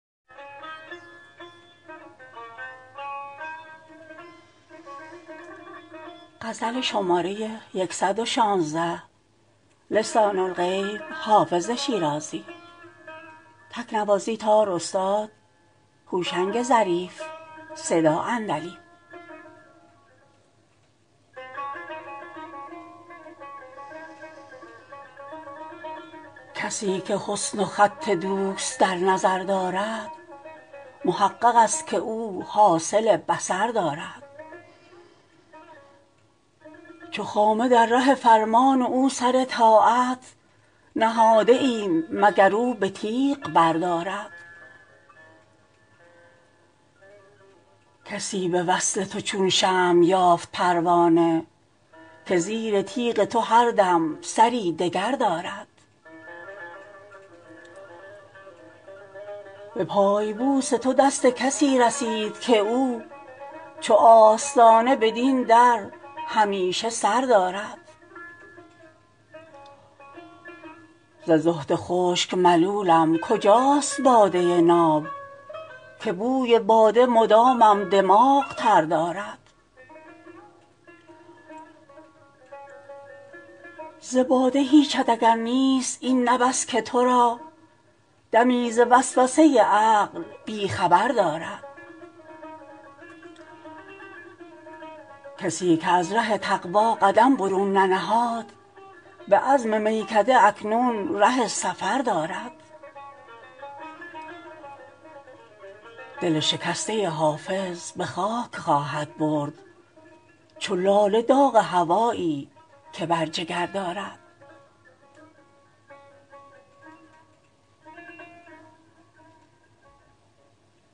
کسی که حسن و خط دوست در نظر دارد محقق است که او حاصل بصر دارد چو خامه در ره فرمان او سر طاعت نهاده ایم مگر او به تیغ بردارد کسی به وصل تو چون شمع یافت پروانه که زیر تیغ تو هر دم سری دگر دارد به پای بوس تو دست کسی رسید که او چو آستانه بدین در همیشه سر دارد ز زهد خشک ملولم کجاست باده ناب که بوی باده مدامم دماغ تر دارد ز باده هیچت اگر نیست این نه بس که تو را دمی ز وسوسه عقل بی خبر دارد کسی که از ره تقوا قدم برون ننهاد به عزم میکده اکنون ره سفر دارد دل شکسته حافظ به خاک خواهد برد چو لاله داغ هوایی که بر جگر دارد